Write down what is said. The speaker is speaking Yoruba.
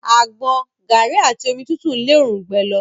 Àgbọn, garri àti omi tútù n le orungbẹ lọ.